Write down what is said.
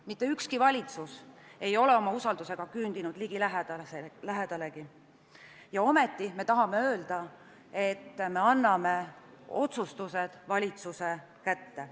Mitte ükski valitsus ei ole oma usaldusega küündinud ligilähedalegi, ja ometi me tahame öelda, et me anname otsustused valitsuse kätte.